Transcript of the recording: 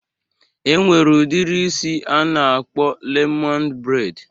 E nwere udiri isi a na-akpọ lemoned breid